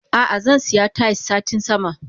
Ah ah zansiya Tayis satin sama.